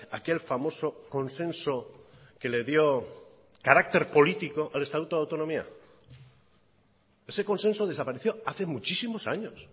aquel famoso consenso que le dio carácter político al estatuto de autonomía ese consenso desapareció hace muchísimos años